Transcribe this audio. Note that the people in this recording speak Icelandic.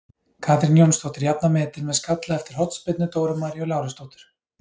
Katrín Jónsdóttir jafnar metin með skalla eftir hornspyrnu Dóru Maríu Lárusdóttur.